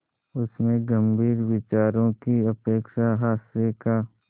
उसमें गंभीर विचारों की अपेक्षा हास्य का